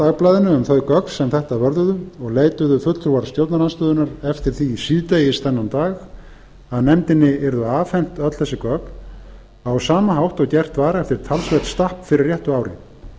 dagblaðinu um þau gögn sem þetta vörðuðu og leituðu fulltrúar stjórnarandstöðunnar eftir því síðdegis þennan dag að nefndinni yrðu afhent öll þessi gögn á sama hátt og gert var eftir talsvert stapp fyrir réttu ári